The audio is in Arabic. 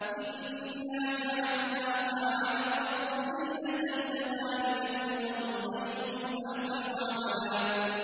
إِنَّا جَعَلْنَا مَا عَلَى الْأَرْضِ زِينَةً لَّهَا لِنَبْلُوَهُمْ أَيُّهُمْ أَحْسَنُ عَمَلًا